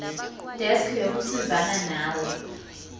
desk yokusizana nawe